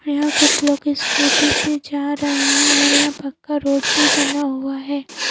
यहां कुछ लोग स्कूटी से जा रहे हैं और यहां पक्का रोड भी बना हुआ है ।